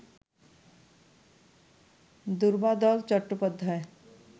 Durbadal Chattopadhyay